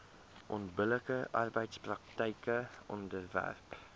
onbillike arbeidspraktyke onderwerp